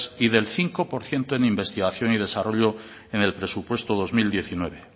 y del cinco por ciento en investigación y desarrollo en el prepuesto dos mil diecinueve